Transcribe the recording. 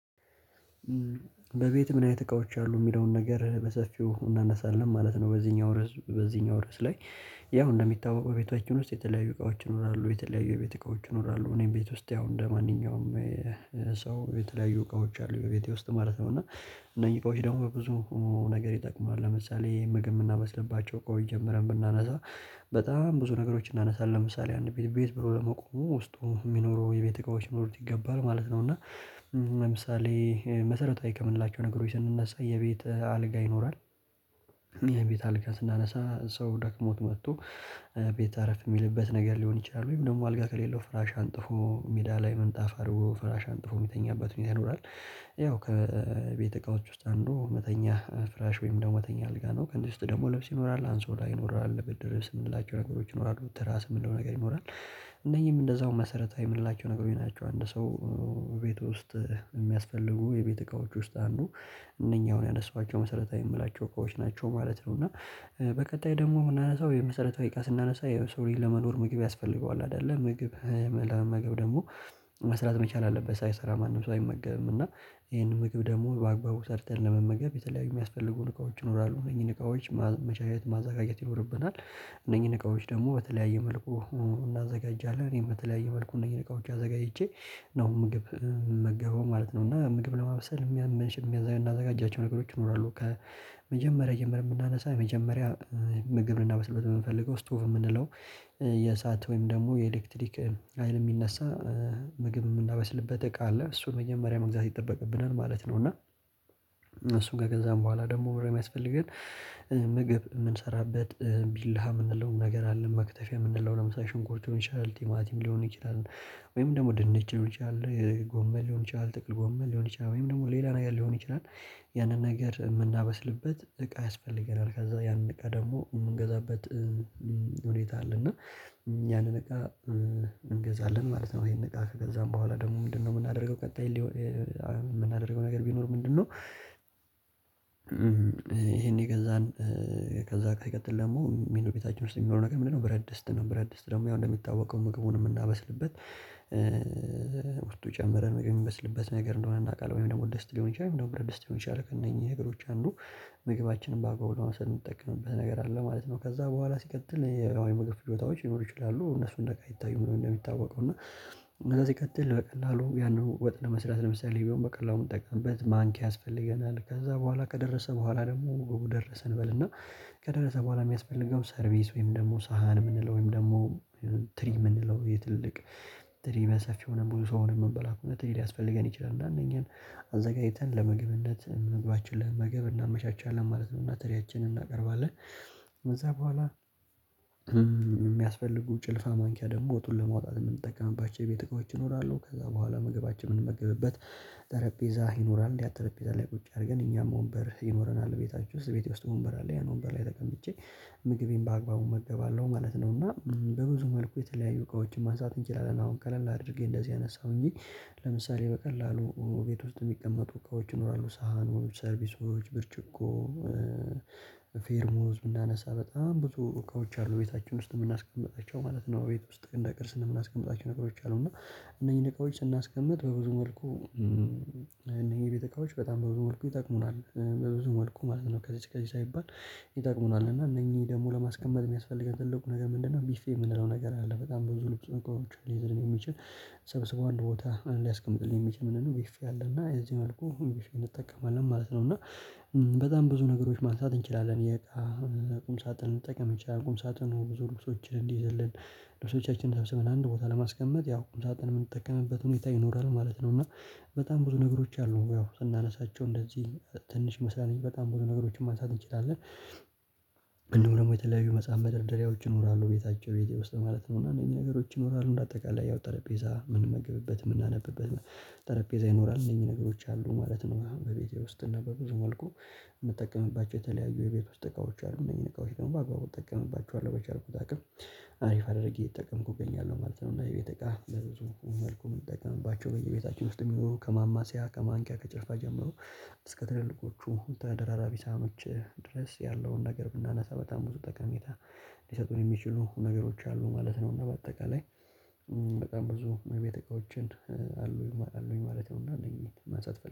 በቤትህ ምን አይነት እቃዎች አሉ የሚለውን ነገር በሰፊው እናነሳለን ማለት ነው? በዚህኛው ርዕስ በዚህኛው ርዕስ ላይ ያው እንደሚታወቀው ቤታችን ውስጥ የተለያዩ እቃዎች ይኖራሉ የተለያዩ የቤት እቃዎች ይኖራሉ እኔም ቤት ውስጥ ያው እንደማንኛውም ሰው የተለያዩ እቃዎች አሉ ቤቴ ውስጥ ማለት ነው። እና እነኚህ እቃዎች ደግሞ ብዙ ነገር ይጠቅማል ለምሳሌ ምግብ የምናመስልባቸው እቃዎች ጀምረን ብናነሳ በጣም ብዙ ነገሮች እናነሳለን ለምሳሌ አንድ ቤት ብሎ ለመቆሙ ውስጡ የሚኖረው የቤት እቃዎች ሊኖሩት ይገባል ማለት ነው። እና ለምሳሌ መሰረታዊ ከምንላቸው ነገሮች ስንነሳ የቤት አልጋ ይኖራል። የቤት አልጋ ስናነሳ ሰው ደክሞት መጥቶ ቤተ አረፍ የሚልበት ነገር ሊሆን ይችላል ወይም ደግሞ አልጋ ከሌለው ፍራሽ አንጥፎ ሜዳ ላይ ምንጣፍ አድርጎ ፍራሽ አንጥፎ የሚተኛበት ሁኔታ ይኖራል ያው ከቤተ እቃዎች ውስጥ አንዱ መተኛ ፍራሽ ወይም ደግሞ መተኛ አልጋ ነው። ከእነዚህ ውስጥ ደግሞ ልብስ ይኖራል አንሶላ ላይ ይኖራል ብርድ ልብስ የምንላቸው ነገሮች ይኖራሉ ትራስ የምንለው ነገር ይኖራል እነዚህም እንደዛው መሰረታዊ የምንላቸው ነገሮች ናቸው። አንድ ሰው ቤት ውስጥ የሚያስፈልጉ የቤት እቃዎች ውስጥ አንዱ እነኚህ አሁን ያነሳኋቸው መሰረታዊ የምላቸው እቃዎች ናቸው ማለት ነው። እና በቀጣይ ደግሞ የምናነሳው የመሰረታዊ እቃ ስናነሳ የሰው ልጅ ለመኖር ምግብ ያስፈልገዋል አይደለ ምግብ ለመመገብ ደግሞ መስራት መቻል አለበት ሳይሰራ ማንም ሰው አይመገብም። እና ይሄን ምግብ ደግሞ በአግባቡ ሰርተን ለመመገብ የተለያዩ የሚያስፈልጉ እቃዎች ይኖራሉ እነኚህን እቃዎች መቻል ማዘጋጀት ይኖርብናል እነኚህን እቃዎች ደግሞ በተለያየ መልኩ እናዘጋጃለን እኔ በተለያየ መልኩ እነኚህን እቃዎች አዘጋጅቼ ነው ምግብ ምመገበው ማለት ነው እና ምግብ ለማብሰል የሚያመንሽ የሚያዘጋጃቸው ነገሮች ይኖራሉ። ከመጀመሪያ ጀምረን ብናነሳ መጀመሪያ ምግብ ልናበስልበት የምንፈልገው ስቶቭ የምንለው የሰዓት ወይም ደግሞ የኤሌክትሪክ ሀይል የሚነሳ ምግብ የምናበስልበት እቃ አለ እሱን መጀመሪያ መግዛት ይጠበቅብናል ማለት ነው። እና እሱን ከገዛን በኋላ ደግሞ ምንድን ነው የሚያስፈልገን? ምግብ የምንሰራበት ቢላ የምንለው ነገር አለ መክተፊያ የምንለውን ለምሳሌ ሽንኩርት ሊሆን ይችላል ቲማቲም ሊሆን ይችላል ወይም ደግሞ ድንች ሊሆን ይችላል ጎመን ሊሆን ይችላል ጥቅል ጎመል ሊሆን ይችላል ወይም ደግሞ ሌላ ነገር ሊሆን ይችላል። ያንን ነገር የምናበስልበት እቃ ያስፈልገናል ከዛ ያንን እቃ ደግሞ የምንገዛበት ሁኔታ አለ እና ያንን እቃ እንገዛለን ማለት ነው። ይሄን እቃ ከገዛን በኋላ ደግሞ ምንድነው የምናደርገው ቀጣይ የምናደርገው ነገር ቢኖር ምንድነው? ይሄን የገዛን ከዛ ከይቀጥል ደግሞ የሚሉ ቤታችን ውስጥ የሚኖረው ነገር ምንድንነው ብረት ድስት ነው ብረት ድስት ደግሞ ያው እንደሚታወቀው ምግቡን የምናበስልበት ውስጡ ጨምረን የሚበስልበት ነገር እንደሆነ እናውቃለን ወይም ደግሞ ድስት ሊሆን ይችላል ወይም ደግሞ ብረት ድስት ሊሆን ይችላል ከእነኚህ ነገሮች አንዱ ምግባችንን በአግባቡ ለማብሰል የምጠቀምበት ነገር አለ ማለት ነው። ከዛ በኋላ ሲቀጥል የምግብ ፍጆታዎች ሊኖሩ ይችላሉ እነሱን እንደ እቃ አይታዩም ነው። እንደሚታወቀው እና ከዚህ ሲቀጥል በቀላሉ ያንን ወጥ ለመስራት ለምሳሌ ቢሆን በቀላሉ ምንጠቀምበት ማንኪያ ያስፈልገናል ከዛ በኋላ ከደረሰ በኋላ ደግሞ ደረሰ እንበል እና ከደረሰ በኋላ የሚያስፈልገው ሰርቪስ ወይም ደግሞ ሳህን የምንለው ወይም ደግሞ ትሪ የምንለው የትልልቅ ትሪ በሰፊ ሆነን ብዙ ሰው ሆነን የምንበላ ከሆነ ትሪ ሊያስፈልገን ይችላል እና እነኚህን አዘጋጅተን ለመግብነት መግባችን ለመመገብ እናመቻቻለን ማለት ነው። እና ትሪያችንን እናቀርባለን ከዛ በኋላ የሚያስፈልጉ ጭልፋ ማንኪያ ደግሞ ወጡን ለመውጣት የምንጠቀማባቸው የቤት እቃዎች ይኖራሉ ከዛ በኋላ ምግባችን የምንመገብበት ጠረጴዛ ይኖራል ያ ጠረጴዛ ላይ ቁጭ አድርገን እኛም ወንበር ይኖረናል ቤታችሁ ውስጥ ቤቴ ውስጥ ወንበር አለ ያን ወንበር ላይ ተቀምጬ ምግቤን በአግባቡ እመገባለሁ ማለት ነው። እና በብዙ መልኩ የተለያዩ እቃዎችን ማንሳት እንችላለን አሁን ቀለል አድርጌ እንደዚህ አነሳሁ እንጂ ለምሳሌ በቀላሉ ቤት ውስጥ የሚቀመጡ እቃዎች ይኖራሉ ሰሃኖች ሰርቪሶች ብርጭቆ ፔርሙዝ ብናነሳ በጣም ብዙ እቃዎች አሉ ቤታችን ውስጥ የምናስቀምጣቸው ማለት ነው። ቤት ውስጥ እንደ ቅርስ የምናስቀምጣቸው ነገሮች አሉ እና እነኚህን እቃዎች ስናስቀምጥ በብዙ መልኩ እነኚህ የቤት እቃዎች በጣም በብዙ መልኩ ይጠቅሙናል በብዙ መልኩ ማለት ነው። ከዚህ እስከዚህ ሳይባል ይጠቅሙናል እና እነኚህ ደግሞ ለማስቀመጥ የሚያስፈልገን ትልቁ ነገር ምንድነው? ቢፌ የምንለው ነገር አለ በጣም ብዙ ልብስ እቃዎችን ሊይዘን የሚችል ሰብስቦ አንድ ቦታ ሊያስቀምጥልኝ የሚችል ምንድንነው ቢፌ አለ እና እዚህ መልኩ እንጠቀማለን ማለት ነው። እና በጣም ብዙ ነገሮች ማንሳት እንችላለን የእቃ ቁም ሳጥን መጠቀም እንችላለል ቁም ሳጥኑ ብዙ ልብሶችን እንዲይዝልን ልብሶቻችንን ሰብስበን አንድ ቦታ ለማስቀመጥ ያው ቁም ሳጥን የምንጠቀምበት ሁኔታ ይኖራል ማለት ነው። እና በጣም ብዙ ነገሮች አሉ ያው ስናነሳቸው እንደዚህ ትንሽ ይመስላል እንጂ በጣም ብዙ ነገሮችን ማንሳት እንችላለን። እንዲሁም ደግሞ የተለያዩ መጽሐፍ መደርደሪያዎች ይኖራሉ ቤታችሁ ቤቴ ውስጥ ማለት ነው እና እነኚህ ነገሮች ይኖራሉ በአጠቃላይ ያው ጠረጴዛ የምንመግብበት የምናነብበት ጠረጴዛ ይኖራል እነዚህ ነገሮች አሉ ማለት ነው። በቤቴ ውስጥ እና በብዙ መልኩ የምጠቀምባቸው የተለያዩ የቤት ውስጥ እቃዎች አሉ እነኚህን እቃዎች ደግሞ በአግባቡ እጠቀምባቸዋለሁ በቻልኩት አቅም አሪፍ አድርጌ እየተጠቀምኩ እገኛለሁ ማለት ነው። እና የቤት እቃ በብዙ መልኩ የምጠቀምባቸው በየቤታችን ውስጥ የሚኖሩ ከማማሲያ ከማንኪያ ከጭልፋ ጀምሮ እስከ ትልልቆቹ ተደራራቢ ሳህኖች ድረስ ያለውን ነገር ብናነሳ በጣም ብዙ ጠቀሜታ ሊሰጡን የሚችሉ ነገሮች አሉ ማለት ነው። እና በአጠቃላይ በጣም ብዙ የቤት እቃዎችን አሉኝ አሉኝ ማለት ነው። እና እነኚህን ማንሳት እፈልጋለው